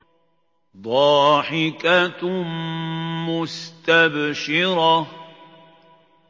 ضَاحِكَةٌ مُّسْتَبْشِرَةٌ